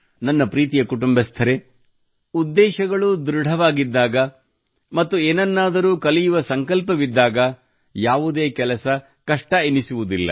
ನನ್ನ ಪ್ರೀತಿಯ ಕುಟುಂಬಸ್ಥರೇ ಉದ್ದೇಶಗಳು ದೃಢವಾಗಿದ್ದಾಗ ಮತ್ತು ಏನನ್ನಾದರೂ ಕಲಿಯುವ ಸಂಕಲ್ಪವಿದ್ದಾಗ ಯಾವುದೇ ಕೆಲಸ ಕಷ್ಟ ಎನಿಸುವುದಿಲ್ಲ